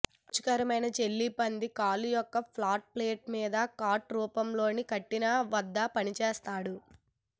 రుచికరమైన జెల్లీ పంది కాళ్ళు ఒక ఫ్లాట్ ప్లేట్ మీద కట్ రూపంలో పట్టిక వద్ద పనిచేశాడు